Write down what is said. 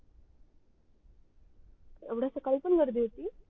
एवड्या सकाळी पण गर्दी होती